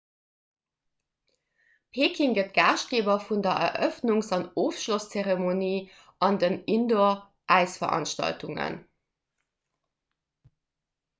peking gëtt gaaschtgeeber vun der erëffnungs an ofschlosszeremonie an den indooräisveranstaltungen